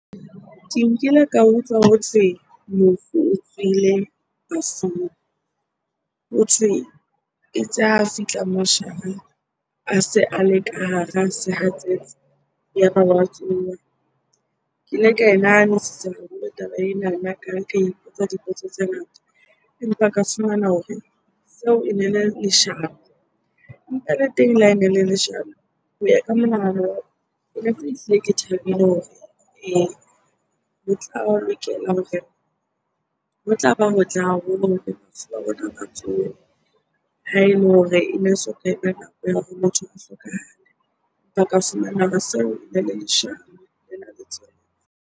Ke nkile ka utlwa hothwe mofu o tsohile bafung. Hothwe e itse a fihla moshareng, a se a le ka hara sehatsetsi, ya ba wa tsoha. Ke ile ka e nahanisisa haholo taba enana, ka ipotsa dipotso tse ngata empa ka fumana hore seo ene le leshano. Empa le teng le ha ene ele le leshano, ho ya ka monahano wa ka ke thabile hore ee, tla lokela hore, ho tla ba hotle haholo hore bafu ba rona ba tsohe ha ele hore ene soka eba nako ya motho o hlokahale. Ba ka seo ene le leshano lena .